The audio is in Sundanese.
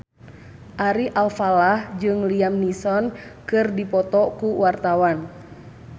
Ari Alfalah jeung Liam Neeson keur dipoto ku wartawan